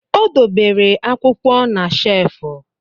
Ọ debere akwụkwọ na shefu